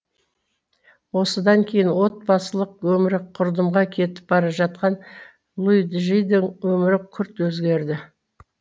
осыдан кейін отбасылық өмірі құрдымға кетіп бара жатқан луиджидің өмірі күрт өзгерді